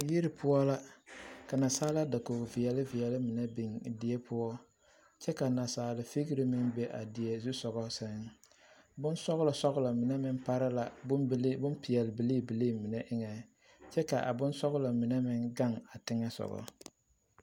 Yiri poɔ la ka naasaalaa dakog veɛle veɛle mine biŋ die poɔ kyɛ ka naasaale vigri meŋ be a die zusogɔ seŋ bon sɔglɔ sɔglɔ mine meŋ pare la bompeɛl bilii bilii mine eŋɛŋ kyɛ ka bonsɔglɔ mine meŋ gaŋ teŋɛsogɔ.